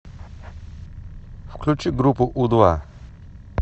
включи группу у два